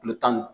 Kulo tan ni